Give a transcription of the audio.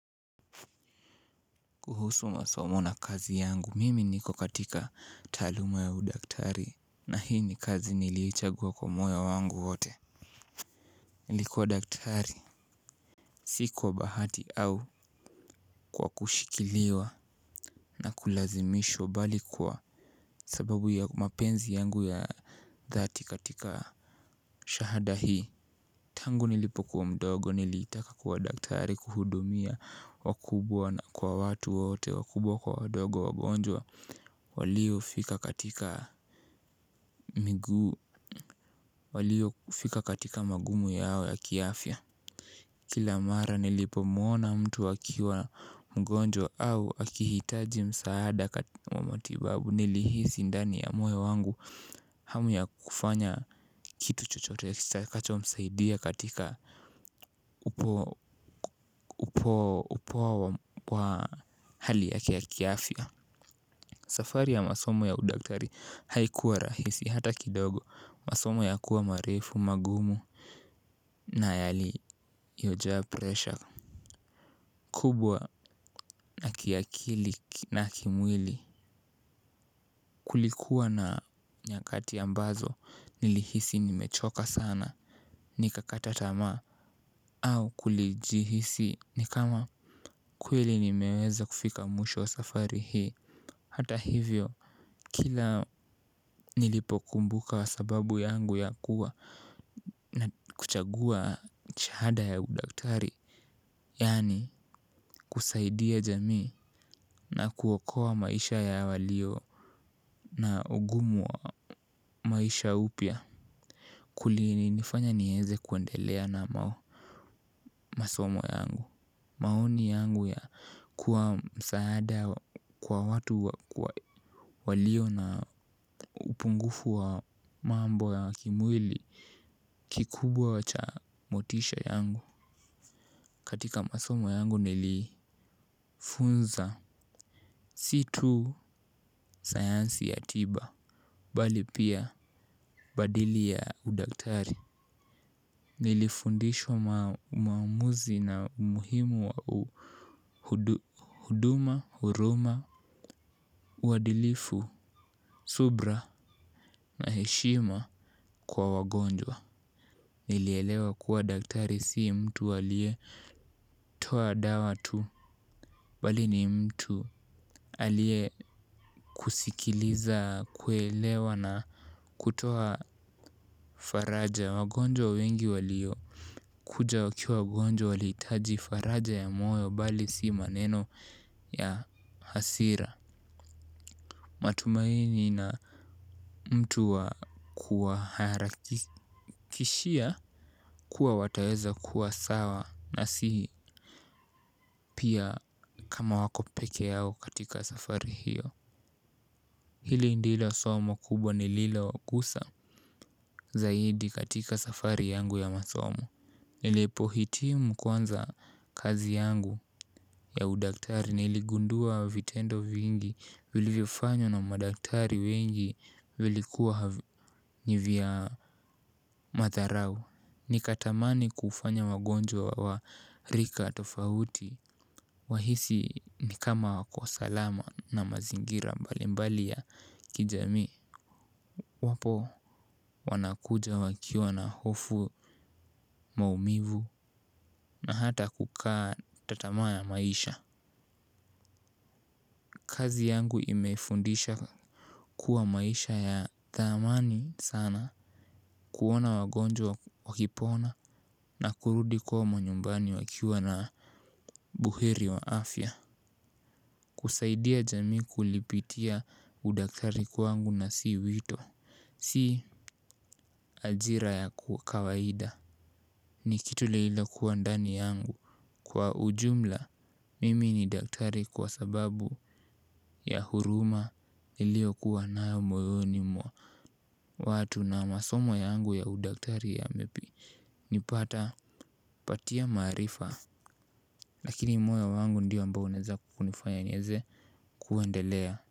Kuhusu masomo na kazi yangu, mimi niko katika taaluma ya udaktari na hii ni kazi niliichagua kwa moyo wangu wote. Nilikuwa daktari si kwa bahati au kwa kushikiliwa na kulazimishwa bali kwa sababu ya mapenzi yangu ya dhati katika shahada hii. Tangu nilipokuwa mdogo nilitaka kuwa daktari kuhudumia wakubwa na kwa watu wote wakubwa kwa wadogo wagonjwa waliofika katika waliofika katika magumu yao ya kiafya. Kila mara nilipomwona mtu akiwa mgonjwa au akihitaji msaada katika matibabu nilihisi ndani ya moyo wangu. Hamu ya kufanya kitu chochote kitakachomsaidia katika upoa wa hali yake ya kiafya. Safari ya masomo ya udaktari haikuwa rahisi hata kidogo. Masomo ya kuwa marefu, magumu na yaliyojaa presha kubwa ya kiakili na kimwili. Kulikuwa na nyakati ambazo nilihisi nimechoka sana. Nikakata tamaa au kulijihisi ni kama kweli nimeweza kufika mwisho wa safari hii. Hata hivyo kila nilipokumbuka sababu yangu ya kuwa na kuchagua shahada ya udaktari yaani kusaidia jamii na kuokoa maisha ya walio na ugumu wa maisha upya, kulinifanya nieze kuendelea namo. Masomo yangu. Maoni yangu ya kuwa msaada kwa watu walio na upungufu wa mambo ya kimwili. Kikubwa cha motisha yangu katika masomo yangu nilifunza si tu sayansi ya tiba bali pia badili ya udaktari. Nilifundishwa maamuzi na umuhimu wa huduma, huruma, uadilifu, subra na heshima kwa wagonjwa. Nilielewa kuwa daktari si mtu aliyetoa dawa tu. Bali ni mtu aliyekusikiliza, kuelewa na kutoa faraja wagonjwa wengi walio kuja wakiwa wagonjwa walihitaji faraja ya moyo bali si maneno ya hasira. Matumaini na mtu wa kuwa harakishia kuwa wataweza kuwa sawa na si pia kama wako peke yao katika safari hiyo. Hili ndilo somo kubwa nililogusa zaidi katika safari yangu ya masomo. Nilipohitimu kwanza kazi yangu ya udaktari niligundua vitendo vingi vilivyofanywa na madaktari wengi vilikuwa ni vya madharau. Nikatamani kufanya wagonjwa wa rika tofauti wahisi ni kama wako salama na mazingira mbalimbali ya kijamii. Iwapo wanakuja wakiwa na hofu, maumivu na hata kukata tamaa na maisha kazi yangu imefundisha kuwa maisha ya thamani sana kuona wagonjwa wakipona na kurudi kwa manyumbani wakiwa na buheri wa afya. Kusaidia jamii kulipitia udakari kwangu na si wito. Si ajira ya kawaida. Ni kitu lililokuwa ndani yangu. Kwa ujumla mimi ni daktari kwa sababu ya huruma iliyokuwa nayo mwa watu na masomo yangu ya udaktari yamenipata patia maarifa lakini moyo wangu ndio ambao unaweza kunifanya niweze kuendelea.